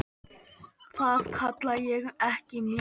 Það kalla ég ekki mikið.